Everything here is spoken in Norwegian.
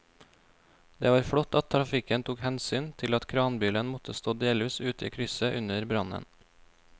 Det var flott at trafikken tok hensyn til at kranbilen måtte stå delvis ute i krysset under brannen.